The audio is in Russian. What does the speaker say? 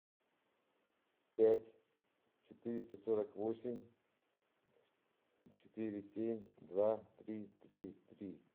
пять четыреста сорок восемь четыре семь два три три три